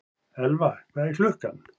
Elfa, hvað er klukkan?